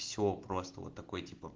все просто вот такой типо